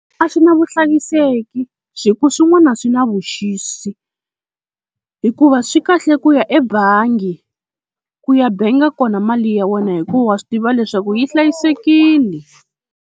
A swi na vuhlayiseki hi ku swin'wana swi na vuxisi, hikuva swi kahle ku ya ebangi ku ya benga kona mali ya wena hikuva wa swi tiva leswaku yi hlayisekile.